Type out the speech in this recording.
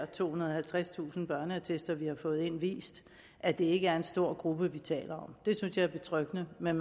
tohundrede og halvtredstusind børneattester vi har fået ind vist at det ikke er en stor gruppe vi taler om det synes jeg er betryggende men